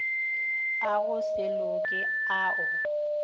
a go se loke ao